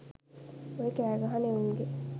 ඔය කෑ ගහන එවුන්ගෙ